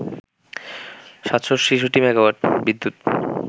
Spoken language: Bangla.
৭৬৬ মেগাওয়াট বিদ্যুৎ